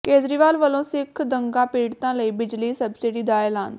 ਕੇਜਰੀਵਾਲ ਵੱਲੋਂ ਸਿੱਖ ਦੰਗਾ ਪੀੜਤਾਂ ਲਈ ਬਿਜਲੀ ਸਬਸਿਡੀ ਦਾ ਐਲਾਨ